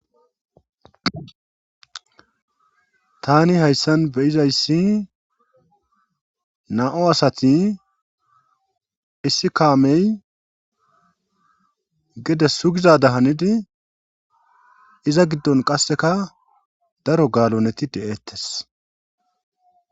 tani hayssan beyizayssi na'u asati isikaamey gede sugizada hanidi iza giddon qasseka daro gaaloneti de7eettes